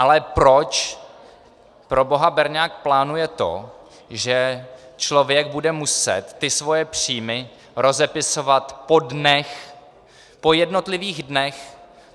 Ale proč proboha berňák plánuje to, že člověk bude muset ty svoje příjmy rozepisovat po dnech, po jednotlivých dnech?